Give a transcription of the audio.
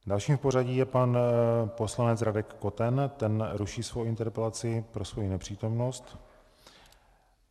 Dalším v pořadí je pan poslanec Radek Koten, ten ruší svou interpelaci pro svou nepřítomnost.